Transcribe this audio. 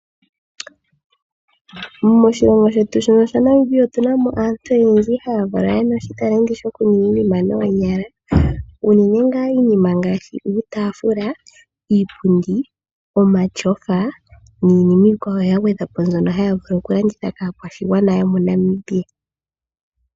Moshilongo shetu shono shaNamibia otu na mo aantu oyendji haya valwa yena oshitaleti okuninga iinima noonyala unene ngaa iinima ngaashi: uutafula, iipundi, omatyofa niinima iikwawo ya gwedhwa po mbyono haya vulu oku landitha kakwaashigana yomoNamibia.